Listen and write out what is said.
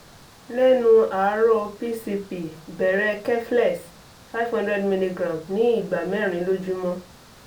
l'ẹ́nu àárò pcp bẹ̀rẹ̀ keflex 500mg ní ìgbà mẹ́rin lójúmọ́